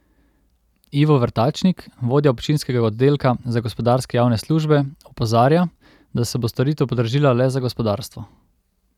Ivo Vrtačnik, vodja občinskega oddelka za gospodarske javne službe, opozarja, da se bo storitev podražila le za gospodarstvo.